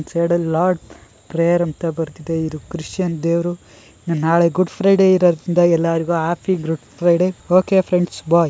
Shared a lot prayer ಅಂತ ಬರ್ದಿದೆ ಇದು ಕ್ರಿಶನ್ ದೇವ್ರು ನಾಳೆ ಗುಡ್ ಫ್ರೈಡೆ ಇರೋದ್ರಿಂದ ಎಲ್ಲಾರಿಗೂ happy good Friday . Okay friends ಬೋ--